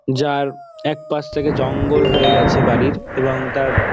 যার একপাশ থেকে জঙ্গল হয়ে গেছে বাড়ির এবং তার --